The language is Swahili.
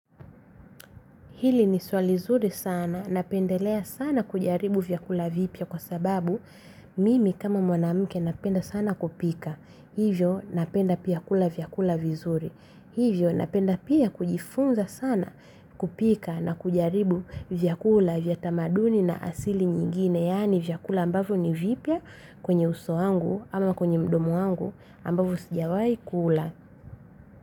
Hili ni swali zuri sana. Napendelea sana kujaribu vyakula vipya kwa sababu mimi kama mwanamke napenda sana kupika. Hivyo napenda pia kula vyakula vizuri. Hivyo napenda pia kujifunza sana kupika na kujaribu vyakula vyatamaduni na asili nyingine. Yaani vyakula ambavyo ni vipya kwenye uso wangu ama kwenye mdomo wangu ambavyo sijawai kula.